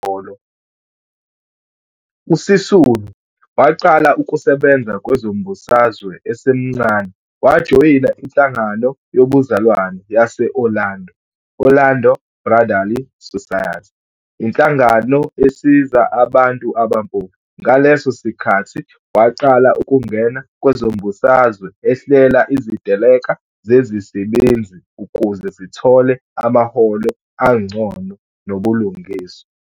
USisulu waqala ukusebenza kwezombusazwe esemncane wajoyina inHlangano yoBuzalwane yase-Orlando,"Orlando Brotherly Society", inhlangano esiza abantu abampofu. Ngaleso sikhathi waqala ukungena kwezombusazwe ehlela iziteleka zezisebenzi ukuze zithole amaholo angcono nobulungiswa.